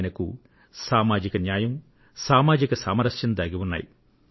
ఎందుకంటే సామాజిక న్యాయం సామాజిక సమానత్వం ఈ రెంటిలోనూ స్వయంసిద్ధంగా ముడిపడివున్నాయి